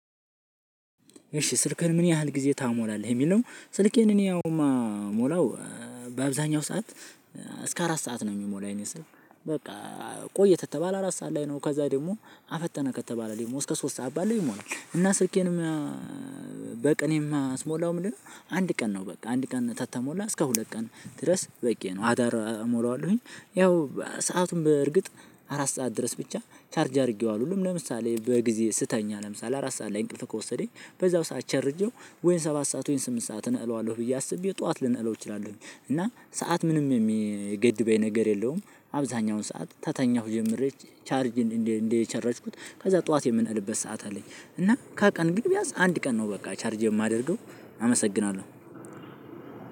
እሺ ስልክህ ምን ያህል ጊዜ ትሞላለህ የሚል? ስልኬን እኔ አሁን የምሞላው በአብዛኛው ሰዓት እስከ አራት ሰዓት ነው የሚሞላ የኔ ስልክ። በቃ ቆይ ከተባለ አራት ሰዓት ላይ ነው ከዛ ደግሞ አፈጠነ ከተባለ ደግሞ እስከ ሶስት ሰዓት ባለው ይሞላል። እና ስልኬንም በቃ እኔ ማስሞላው ምንድነው? አንድ ቀን ነው በቃ አንድ ቀን ከተሞላ እስከ ሁለት ቀን ድረስ በቂ ነው። አዳር እሞለ ዋሁኝ ያው ሰአቱን በእርግጥ አራት ሰዓት ድረስ ብቻ ቻርጅ አድርጌው። ለምሳሌ በጊዜ ስተኛ ለምሳሌ አራት ሰዓት ላይ እንቅፍህ ከወሰደኝ በዛው ሰዓት ቸርጄው ወይን ሰባት ሰዓት ወይን ስምንት ሰዓት እነለቅለዋለሁኝ ብዬ አስቤ ጠዋት ልነቅለው እችላለሁ። እና ሰዓት ምንም የሚገድበኝ ነገር የለውም። አብዛኛውን ሰዓት ታ ከተኜሁ ጀምሪ ቻርጅ እንዴ እንዴ ቸርችኩት ከዛ ጠዋት የምነቅልበት ሰዓት አለኝ። እና ከቀን ግን ቢያዝ አንድ ቀን ነው በቃ ቻርጅ የማደርገው። አመሰግናለሁ።